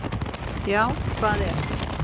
Já hvað ef!